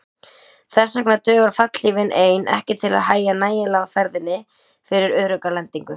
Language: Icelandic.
Þess vegna dugir fallhlífin ein ekki til að hægja nægjanlega á ferðinni fyrir örugga lendingu.